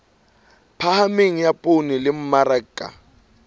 phahameng ya poone le mmaraka